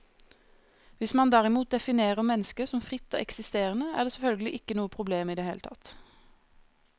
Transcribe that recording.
Hvis man derimot definerer mennesket som fritt og eksisterende, er det selvfølgelig ikke noe problem i det hele tatt.